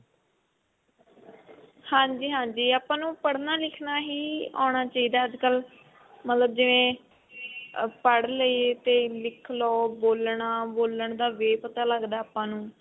ਹਾਂਜੀ ਹਾਂਜੀ ਆਪਾਂ ਨੂੰ ਪੜ੍ਹਨਾ ਲਿੱਖਣਾ ਹੀ ਆਉਣਾ ਚਾਹਿਦਾ ਅੱਜਕਲ ਮਤਲਬ ਜਿਵੇਂ ਅਹ ਪੜ੍ਹ ਲਏ ਲਿੱਖ ਲੋ ਬੋਲਨਾ ਬੋਲਣ ਦਾ way ਪਤਾ ਲੱਗਦਾ ਆਪਾਂ ਨੂੰ